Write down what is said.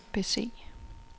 bese